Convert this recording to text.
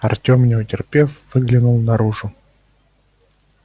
артём не утерпев выглянул наружу